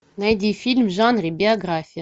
найди фильм в жанре биография